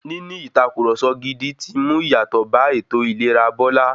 Níní ìtàkurọ̀sọ gidi ti ń mú ìyàtọ̀ bá ètò ìlera Bọ́lá.